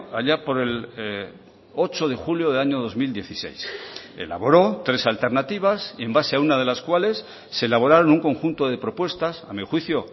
allá por el ocho de julio del año dos mil dieciséis elaboró tres alternativas en base a una de las cuales se elaboraron un conjunto de propuestas a mi juicio